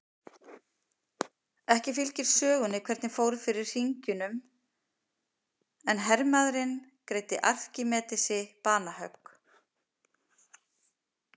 Ekki fylgir sögunni hvernig fór fyrir hringjunum en hermaðurinn greiddi Arkímedesi banahögg.